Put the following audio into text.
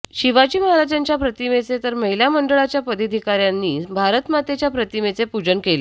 शिवाजी महाराजांच्या प्रतिमेचे तर महिला मंडळाच्या पदाधिकाऱ्यांनी भारतमातेच्या प्रतिमेचे पूजन केले